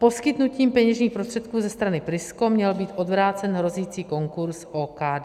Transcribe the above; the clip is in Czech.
Poskytnutím peněžních prostředků ze strany Prisko měl být odvrácen hrozící konkurz OKD.